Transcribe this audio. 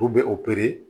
U bɛ opere